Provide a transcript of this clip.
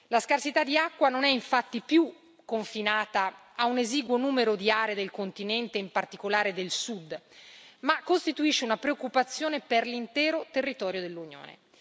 La scarsità di acqua non è infatti più confinata a un esiguo numero di aree del continente, in particolare del Sud, ma costituisce una preoccupazione per l'intero territorio dell'Unione.